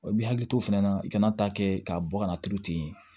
Wa i b'i hakili to o fana na i kana ta kɛ k'a bɔ ka na turu ten